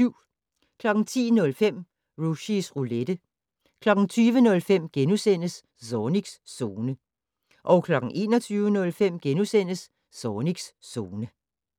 10:05: Rushys Roulette 20:05: Zornigs Zone * 21:05: Zornigs Zone *